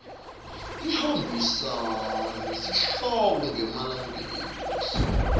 ihambisana nesihloko ngemalengiso